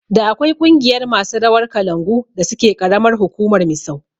Da akwai ƙungiyar masu rawar kalangu da suke karamar hukumar Misau